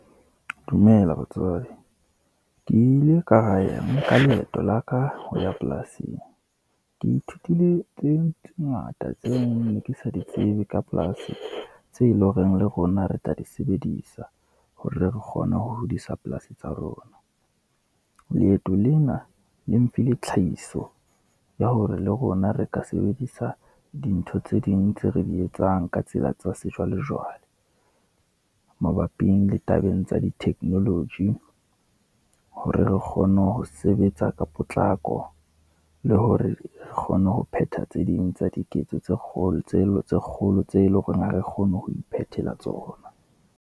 Dumela batswadi, ke ile ka nka leeto la ka ho ya polasing, ke ithutile tse ngata tseo ne ke sa di tsebe ka polasi, tse e leng horeng le rona re tla di sebedisa hore re kgone ho hodisa polasi tsa rona. Leeto lena le mphile tlhahiso ya hore le rona re ka sebedisa dintho tse ding tse re di etsang ka tsela tsa sejwalejwale, mabapi le tabeng tsa di technology, hore re kgone ho sebetsa ka potlako, le hore re kgone ho phetha tse ding tsa diketso tse kgolo, tseno tse kgolo tse leng hore ha re kgone ho iphethela tsona.